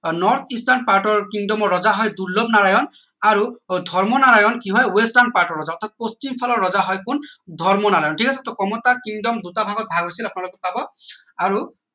আহ north eastern part ৰ kingdom ৰজা হয় দুৰ্লনাৰায়ণৰ আৰু ধৰ্মনাৰায়ন কি হয় western part ৰজা অৰ্থাৎ পশ্চিম ফালৰ ৰজা হয় কোন ধৰ্মনাৰায়ন ঠিক আছে টৌ কমতা. kingdom দুটা ভাগত ভাগ হৈছিল আপোনালোকে পাব আৰু